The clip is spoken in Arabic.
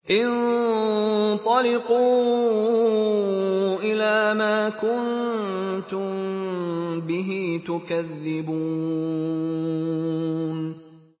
انطَلِقُوا إِلَىٰ مَا كُنتُم بِهِ تُكَذِّبُونَ